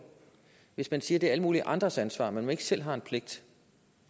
hvis man siger at det er alle mulige andres ansvar men at man ikke selv har en pligt